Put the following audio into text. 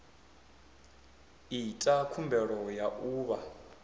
ita khumbelo ya u vha